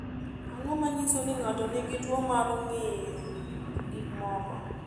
Ang’o ma nyiso ni ng’ato nigi tuwo mar ng’iyo gik moko?